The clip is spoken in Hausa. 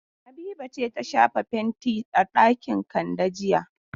Habiba ce ta shafa fenti a ɗakin Kande jiya.